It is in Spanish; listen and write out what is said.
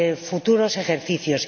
futuros ejercicios.